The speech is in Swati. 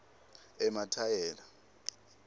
emathayela